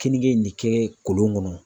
Keninge in ne kɛ kolon kɔnɔ.